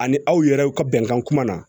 Ani aw yɛrɛ ka bɛnkan kuma na